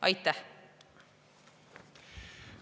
Aitäh!